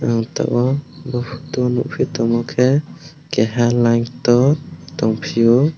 ang tabok bo poto o nwngpi tongma ke keha layintot tongpio.